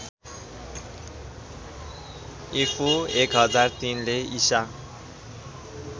ईपू १००३ ले ईसा